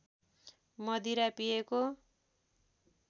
मदिरा पिएको